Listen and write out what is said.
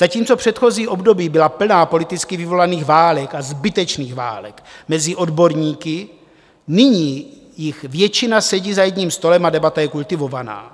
Zatímco předchozí období byla plná politicky vyvolaných válek, a zbytečných válek mezi odborníky, nyní jich většina sedí za jedním stolem a debata je kultivovaná.